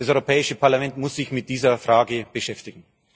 Das Europäische Parlament muss sich mit dieser Frage beschäftigen.